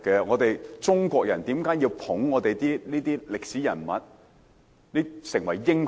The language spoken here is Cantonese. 為何中國人要吹捧一眾歷史人物為民族英雄？